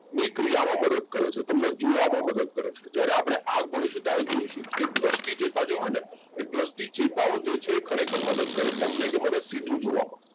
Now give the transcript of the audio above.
ની ક્રિયા માં મદદ કરે છે તમને જોવા માં મદદ કરે છે જયારે આપડે આ ભણીશુ ત્યારે જોઇશુ કે દ્રષ્ટિ ચેતા જો હેને એ દ્રષ્ટિ ચેતાઓ જે છે ખરેખર મદદ કરે તમને કે મને સીધું જોવામાં,